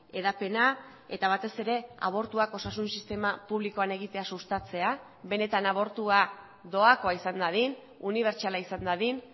hedapena eta batez ere abortuak osasun sistema publikoan egitea sustatzea benetan abortua doakoa izan dadin unibertsala izan dadin